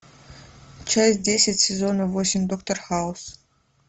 часть десять сезона восемь доктор хаус